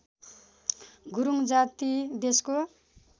गुरूङ जाति देशको